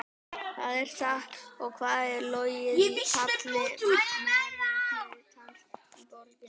Hvað er satt og hvað er logið í falli meirihlutans í borginni?